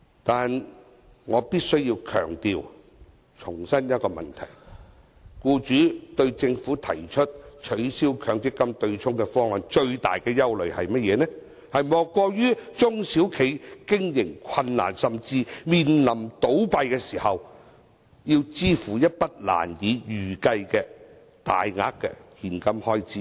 但是，我必須強調和重申一個問題，僱主對政府提出取消強積金對沖方案的最大憂慮，莫過於中小企經營困難，甚至面臨倒閉時要支付一筆難以預計的大額現金開支。